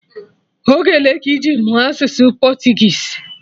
Oge ole ka iji mụọ asụsụ Portuguese?